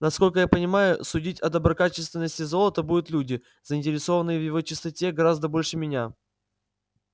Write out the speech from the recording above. насколько я понимаю судить о доброкачественности золота будут люди заинтересованные в его чистоте гораздо больше меня